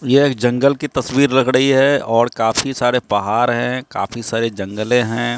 ये एक जंगल की तस्वीर लग रही है और काफी सारे पहाड़ है काफी सारे जंगले हैं।